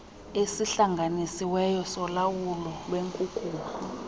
esihlanganisiweyo solawulo lwenkunkuma